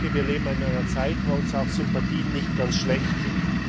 Ich denke, wir leben in einer Zeit, wo uns Sympathien nicht ganz schlechttun.